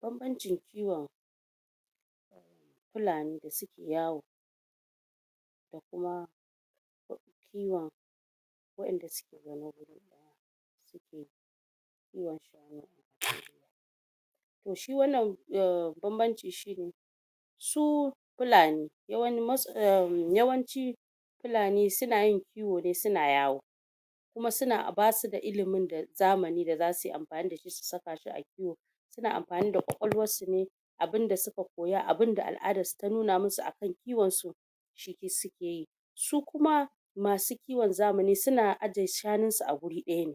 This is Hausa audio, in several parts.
banbancin kiwon???? fulani da suke yawo????????????????????? da kuma kiwon wa'enda suke zaune wuri daya????????????????????? to shi wannnan banbanci shine su fulani yawani erm yawanci fulani sunayin suna kiwo suna yawo kuma suna a basu da ilimin zamani da zasu amfani dashi su sakashi a kiwo suna amfani da kwakwalwar sune abunda suka koya abunda al'adarsu ta nuna masu a akan kiwonsu ciki sukeyi su kuma masu kiwon zamani suna ajiye shanunsu a wuri daya ne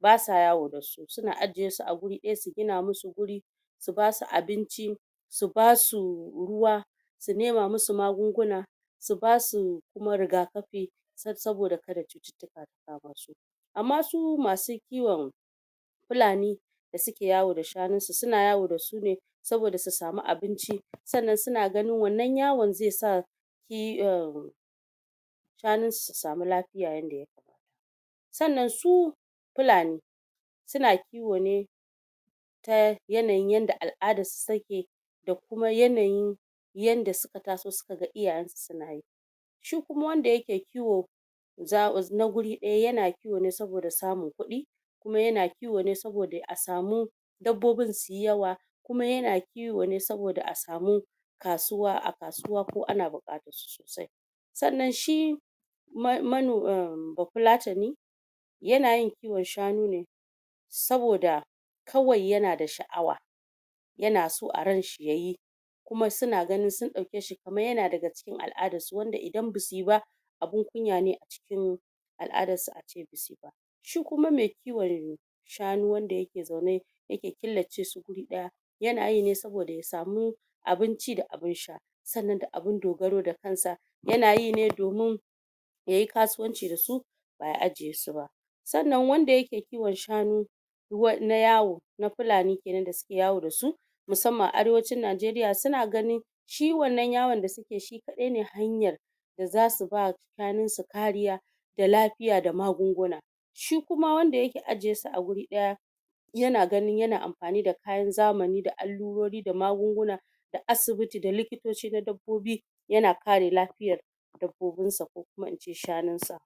basa yawo dasu suna ajiyesua wuri daya su gina masu wuri su basu abinci su basu ruwa su nema masu magunguna su basu kuma rigakafi tsab saboda kada cututtuka su kama su amma su masu kiwon fulani da suke yawo da shanunsu suna yawo dasu ne sabida su samu abinci sannan suna ganin wannan yawon zai sa yi errmmmm shanunsu su samu lafiya yadda ya kamata sannan su fulani suna kiwo ne ta yanayin yadda al'adarsu suke da kuma yanayin yadda suka taso suka ga iyayensu sunayi duk kuma wanda yake za ku na wuri daya yana kiwo ne saboda samun kudi kuma yana kiwo ne saboda a samu dabbobin suyi yawa kuma yana kiwo kiwo ne saboda a samu kasuwa a kasuwa ko ana bukatansu sosai sannan shi mano ermm bafulatani yana yin kiwon shanune saboda saboda kawai yana da shaawa yanaso a ranshi yayi kuma suna ganin sun daukeshi kamar yana daga cikin al'adarsu wanda idan basuyi ba abun kunya ne a cikin al'adarsu ace basuyi ba shi kuma me kiwon shanu wanda yake xaune yake killace su wuri daya yanayi ne saboda ya samu abin ci da abun sha sannan da abun dogaro da kansa yanayi ne domin yayi kasuwanci dasu ba ya ajiyesu ba sannan wanda yake kiwon shanu na yawo na fulani kenan da suke yawo dasu musamman a arewacin najeriya suna ganin shi wannan yawon da suke shi kadai ne hanyan da zasu ba shanunsu kariya da lafiya da magunguna shi kuma wanda yake ajiyesu a wuri daya yana ganin yana amfani da kayan zamani da allurori da magunguna da asibiti da likitoci na dabbobi yana kare lafiya dabbobinsa ko kuma ince shanunsa